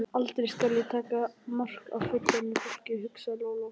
Aldrei skal ég taka mark á fullorðnu fólki, hugsaði Lóa Lóa.